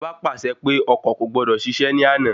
Ìjọba pàṣẹ pé ọkọ̀ kò gbọdọ̀ ṣiṣẹ̀ ní àná